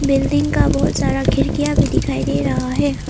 Building का बहुत सारा खिड़कियां भी दिखाई दे रहा है।